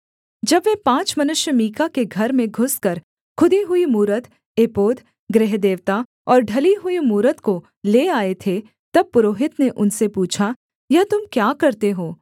जब वे पाँच मनुष्य मीका के घर में घुसकर खुदी हुई मूरत एपोद गृहदेवता और ढली हुई मूरत को ले आए थे तब पुरोहित ने उनसे पूछा यह तुम क्या करते हो